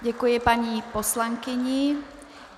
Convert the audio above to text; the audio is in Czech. Děkuji paní poslankyni.